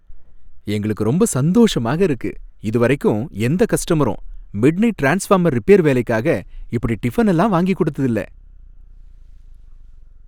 எங்களுக்கு ரொம்ப சந்தோஷமாக இருக்கு! இதுவரைக்கும் எந்த கஸ்டமரும் மிட்நைட் ட்ரான்ஸ்ஃபார்மர் ரிப்பேர் வேலைக்காக இப்படி டிஃபன் எல்லாம் வாங்கிக் கொடுத்தது இல்ல.